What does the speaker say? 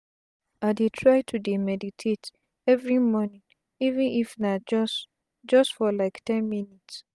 i dey try to dey meditate everi mornin even if na just just for like ten minutes